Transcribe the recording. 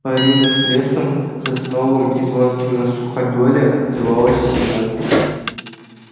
борина с лесом сосновым и звонким на суходоле отзывалась всему